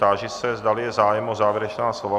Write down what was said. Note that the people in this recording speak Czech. Táži se, zdali je zájem o závěrečná slova.